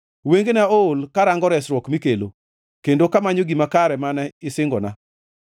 Wengena ool karango resruok mikelo, kendo kamanyo gima kare mane isingona.